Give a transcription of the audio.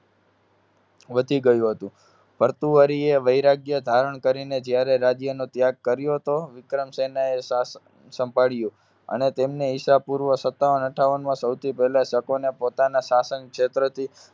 વધી ગયું હતું. ભર્તુહરીએ વૈરાગ્ય ધારણ કરીને જયારે રાજ્યનો ત્યાગ કર્યો હતો, વિક્રમસેનાએ શાસન સાંભળ્યું. અને તેમને ઈસા પૂર્વ સત્તાવન અઠ્ઠાવનમાં સૌથી પહેલા શકોને પોતાના શાસન ક્ષેત્રથી